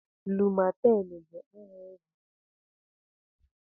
Lumaten bu aha ogwu eji agwo malaria.